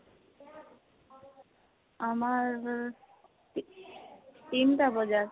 আমাৰ ৰ তিনটা বজাত